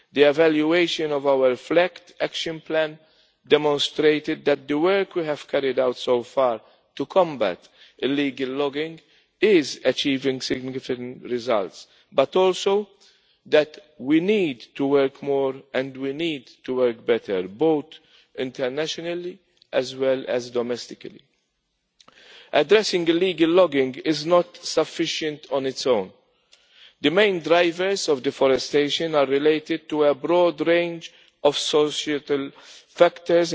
The evaluation of our FLEGT Action Plan demonstrated that the work we have carried out so far to combat illegal logging is achieving significant results, but also that we need to work more and we need to work better, both internationally and domestically. Addressing illegal logging is not sufficient on its own. The main drivers of deforestation are related to a broad range of societal factors.